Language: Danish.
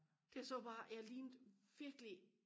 jeg så bare jeg lignede virkelig